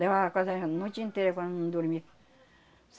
Levava quase era a noite inteira quando não dormia.